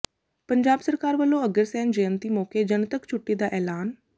ਪੰਜਾਬ ਸਰਕਾਰ ਵੱਲੋਂ ਅਗਰਸੈਨ ਜਯੰਤੀ ਮੌਕੇ ਜਨਤਕ ਛੁੱਟੀ ਦਾ ਐਲਾਨ